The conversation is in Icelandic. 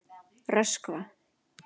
Röskva